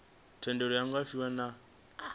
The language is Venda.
thendelo iu nga fhiwa nga